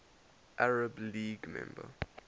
arab league member